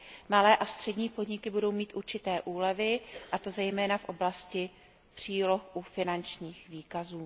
Malé a střední podniky budou mít určité úlevy, a to zejména v oblasti příloh u finančních výkazů.